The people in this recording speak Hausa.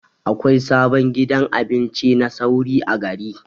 Akwai sabon gidan abinci na sauri a gari.